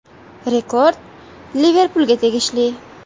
Rekord “Liverpul”ga tegishli.